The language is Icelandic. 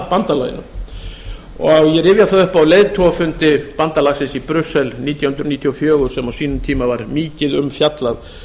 bandalaginu ég rifja það upp að á leiðtogafundi bandalagsins í brussel nítján hundruð níutíu og fjögur sem á sínum tíma var mikið um fjallað